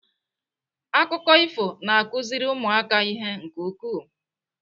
Akụkọ ifo na-akụziri ụmụaka ihe nke ukwuu.